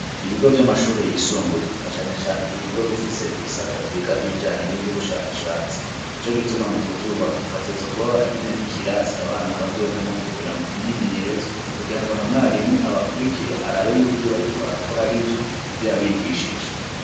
Ibigo vy'amashure yisumbuye, na cane cane ibigo bifise ibisata vyiga ibijanye n'ivy'ubushakashatsi, ni co gituma mu kuvyubaka, bategerezwa kuba baragize n'ikirasi abana bazojamwo kugiramwo imyimenyerezo, kugira ngo na mwarimu abakurikire arabe yuko ivyo bariko barakora ari vyo mu vyo yabigishije.